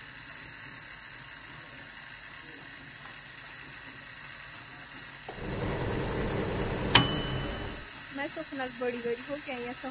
ਮੈਂ ਸੁੱਖ ਨਾਲ ਬੜੀ ਵਾਰੀ ਹੋ ਕੇ ਆਈ ਆਂ ਉਥੇ।